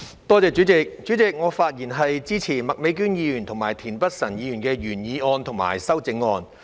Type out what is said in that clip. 代理主席，我發言支持麥美娟議員及田北辰議員的原議案和修正案。